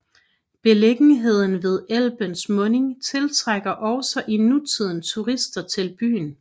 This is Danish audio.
Beliggenheden ved Elbens mundingen tiltrækker også i nutiden turister til byen